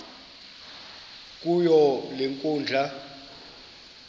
kuyo le nkundla